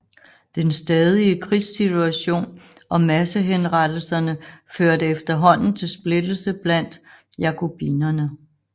Den stadige krigssituation og massehenrettelserne førte efterhånden til splittelse blandt jakobinerne